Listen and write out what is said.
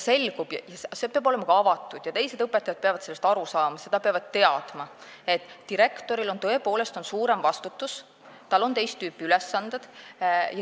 See peab toimuma avatult ja teised õpetajad peavad sellest aru saama, nad peavad teadma, et direktoril on tõepoolest suurem vastutus, tal on teist tüüpi ülesanded.